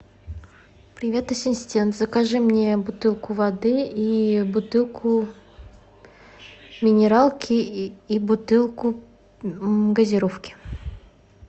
привет ассистент закажи мне бутылку воды и бутылку минералки и бутылку газировки